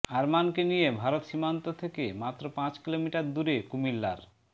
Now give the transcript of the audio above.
আরমানকে নিয়ে ভারত সীমান্ত থেকে মাত্র পাঁচ কিলোমিটার দূরে কুমিল্লার